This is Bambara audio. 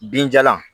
Binjalan